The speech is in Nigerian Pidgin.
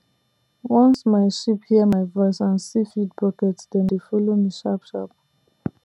once my sheep hear my voice and see feed bucket dem dey follow me sharp sharp